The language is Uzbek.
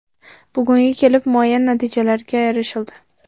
Bugunga kelib muayyan natijalarga erishildi.